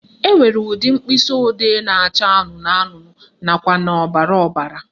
Enwere ụdị mkpịsịodee na-acha anụnụ anụnụ nakwa na ọbara ọbara